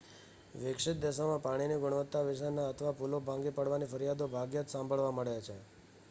વિકસિત દેશોમાં પાણીની ગુણવત્તા વિશેની અથવા પુલો ભાંગી પડવાની ફરિયાદો ભાગ્યે જ સાંભળવા મળે છે